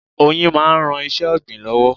Oyin máa ń ran iṣẹ́ ọ̀gbìn lọ́wọ́.